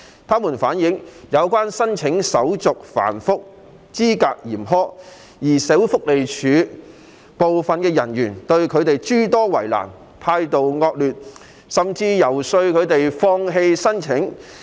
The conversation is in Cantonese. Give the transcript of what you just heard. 他們反映，有關申請程序繁複及資格嚴苛，而社會福利署部分人員對他們諸多為難和態度惡劣，甚至游說他們放棄申請。